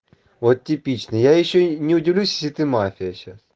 вот типичная я ещё не удивлюсь если ты мафия сейчас